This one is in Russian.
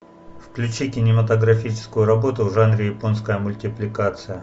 включи кинематографическую работу в жанре японская мультипликация